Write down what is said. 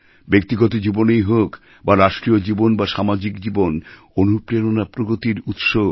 ব্যক্তিগত জীবনেই হোক বা রাষ্ট্রীয় জীবন বা সামাজিক জীবনঅনুপ্রেরণা প্রগতির উৎস